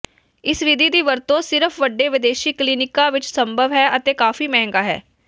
ਇਸ ਵਿਧੀ ਦੀ ਵਰਤੋਂ ਸਿਰਫ ਵੱਡੇ ਵਿਦੇਸ਼ੀ ਕਲੀਨਿਕਾਂ ਵਿੱਚ ਸੰਭਵ ਹੈ ਅਤੇ ਕਾਫ਼ੀ ਮਹਿੰਗਾ ਹੈ